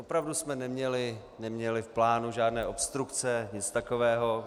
Opravdu jsme neměli v plánu žádné obstrukce, nic takového.